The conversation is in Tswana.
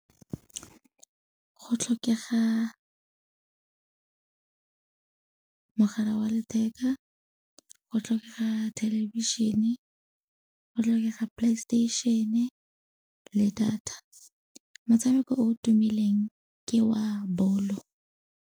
Go tlhokega mogala wa letheka, go tlhokega thelebišene, go tlhokega PlayStation-e le data. Motshameko o tumileng ke wa bolo.